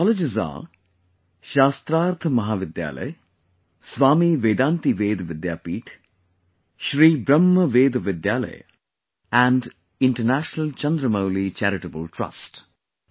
These colleges are Shastharth College, Swami Vedanti Ved Vidyapeeth, Sri Brahma Veda Vidyalaya and International Chandramouli Charitable Trust